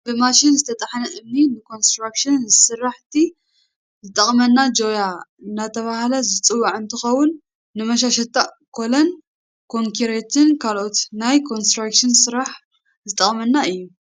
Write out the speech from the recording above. ብማሽን ዝተጣሓነ እምኒ ንኮንስትራክሽን ስራሕቲ ዝጠቅመና ጆያ እንዳተባሃለ ዝፅዋእ እንትከውን ፣ ንመሻሻታን ኮሎ፣ ኮንኪሪትን ካልኦት ናይ ኮንስትራክሽን ስራሕ ዝጠቅመና እዮ።